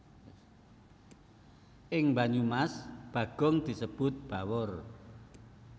Ing Banyumas Bagong disebut Bawor